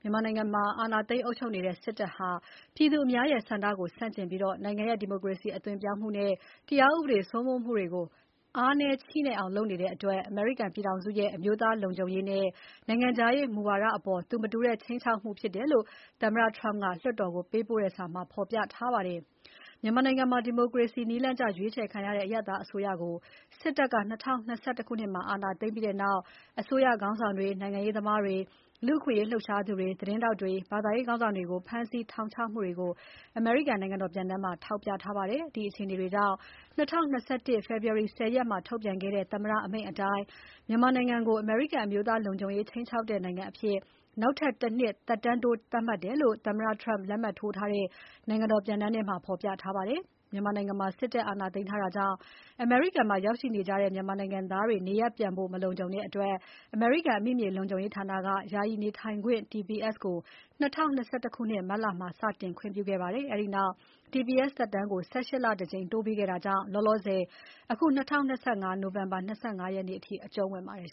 မြန်မာနိုင်ငံမှာ အာဏာသိမ်းအုပ်ချုပ်နေတဲ့စစ်တပ်ဟာ ပြည်သူအများရဲ့ဆန္ဒကိုဆန့်ကျင်ပြီး နိုင်ငံရဲ့ ဒီမိုကရေစီအသွင်ပြောင်းမှုနဲ့ တရားဥပဒေစိုးမိုးမှုတွေကို အားနည်းချည့်နဲ့အောင်လုပ်ဆောင်နေတဲ့ အတွက် အမေရိကန်ပြည်ထောင်စုရဲ့ အမျိုးသားလုံခြုံရေးနဲ့ နိုင်ငံခြားရေး မူဝါဒအပေါ် သူမတူတဲ့ ခြိမ်းခြောက်မှုဖြစ်တယ်လို့ သမ္မတ Trump က လွှတ်တော်ကို ပေးပို့တဲ့စာမှာ ဖော်ပြထားပါတယ်။ မြန်မာနိုင်ငံမှာ ဒီမိုကရေစီနည်းလမ်းကျရွေးချယ်ခံရတဲ့ အရပ်သားအစိုးရကို စစ်တပ်က ၂၀၂၁ ခုနှစ်မှာ အာဏာသိမ်းပြီးနောက် အစိုးရခေါင်းဆောင်တွေ၊ နိုင်ငံရေးသမားတွေ၊ လူ့အခွင့်အရေးလှုပ်ရှားသူတွေ၊ သတင်းထောက်တွေ၊ ဘာသာရေးခေါင်းဆောင်တွေကို ဖမ်းဆီး ထောင်ချမှုတွေကို အမေရိကန် နိုင်ငံတော်ပြန်တမ်းမှာ ထောက်ပြထားပါတယ်။ ဒီအခြေအနေတွေကြောင့် ၂၀၂၁ ခုနှစ် ဖေဖော်ဝါရီ ၁၀ ရက်မှာထုတ်ပြန်ခဲ့တဲ့ သမ္မတအမိန့်အတိုင်း မြန်မာနိုင်ငံကို အမေရိကန်အမျိုးသားလုံခြုံရေး ခြိမ်းခြောက်တဲ့နိုင်ငံအဖြစ် ‘နောက်ထပ်တနှစ်ထပ်တိုး’သတ်မှတ်တယ်လို့ သမ္မတ Trump လက်မှတ်ထိုး ထားတဲ့ နိုင်ငံတော်ပြန်တမ်းမှာ ဖော်ပြထားပါတယ်။ မြန်မာနိုင်ငံမှာစစ်တပ်အာဏာသိမ်းထားတာကြောင့် အမေရိကန်မှာ ရောက်ရှိနေကြတဲ့ မြန်မာနိုင်ငံသားတွေ နေရပ်ပြန်ဖို့ မလုံခြုံတဲ့အတွက် အမေရိကန် အမိမြေလုံခြုံရေးဌာနက ယာယီနေထိုင်ခွင့် TPS ကို ၂၀၂၁ ခုနှစ် မတ်လမှာ စတင် ခွင့်ပြုခဲ့ပါတယ်။ အဲဒီနောက်TPS သက်တမ်းကို ၁၈ လတကြိမ် တိုးပေးခဲ့တာကြောင့် လောလောဆယ် ၂၀၂၅ နိုဝင်ဘာ ၂၅ ရက်နေ့အထိ အကျုံးဝင်နေပါတယ်